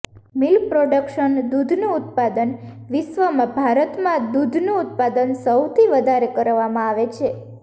milk production દૂધનું ઉત્પાદન વિશ્વમાં ભારતમાં દૂધનું ઉત્પાદન સૌથી વધારે કરવામાં આવે છે